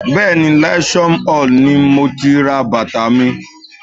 Bẹ́ẹ̀ni, Leisure Mall ni mo ti ra bàtà mi